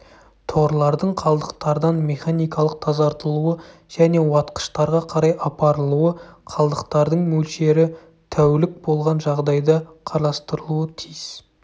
торлардың қалдықтардан механикалық тазартылуы және уатқыштарға қарай апарылуы қалдықтардың мөлшері тәул3к болған жағдайда қарастырылуы тиіс